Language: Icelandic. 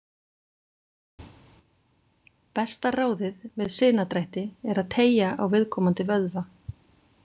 Besta ráðið við sinadrætti er að teygja á viðkomandi vöðva.